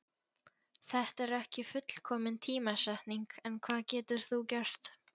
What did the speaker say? Þetta er ekki fullkomin tímasetning en hvað getur þú gert?